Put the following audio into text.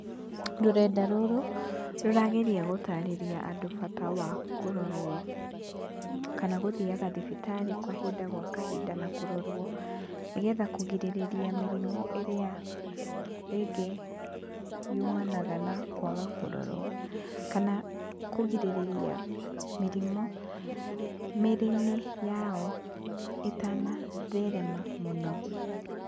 Rũrenda rũrũ, rũrageria gũtarĩria andũ bata wa kũrorwo, kana gũthiaga thibitarĩ kahinda gwa kahinda na kũrorwo, nĩgetha kũrigĩrĩria mĩrimũ ĩrĩa rĩngĩ yumanaga na kwaga kũrorwo, kana kũgĩrĩrĩria mĩrimũ mĩrĩ-inĩ yao ĩtanatherema mũno.